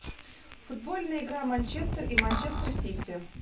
футбольная игра манчестер и манчестер сити